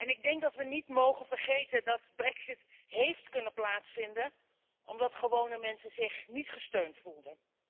Ik denk dat we niet mogen vergeten dat de brexit heeft kunnen plaatsvinden omdat gewone mensen zich niet gesteund voelden.